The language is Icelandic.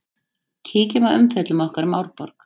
Kíkjum á umfjöllun okkar um Árborg.